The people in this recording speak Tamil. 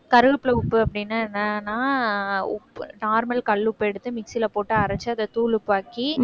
கருவேப்பிலை உப்பு அப்படின்னா என்னன்னா உப்பு normal கல் உப்பு எடுத்து மிக்ஸியில போட்டு அரைச்சு அதை தூள் உப்பாக்கி